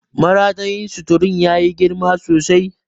Maratayin suturun ya yi girma sosai.